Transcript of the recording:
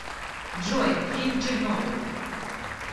джой фильм чернобыль